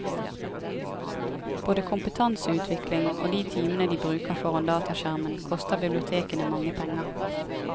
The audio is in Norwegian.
Både kompetanseutvikling og de timene de bruker foran dataskjermen, koster bibliotekene mange penger.